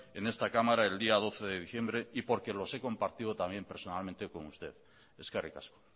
en esta cámara el día doce de diciembre y porque los he compartido también personalmente con usted eskerrik asko